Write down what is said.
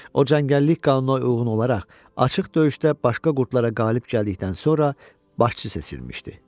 O cəngəllik qanununa uyğun olaraq açıq döyüşdə başqa qurdlarıa qalib gəldikdən sonra başçı seçilmişdi.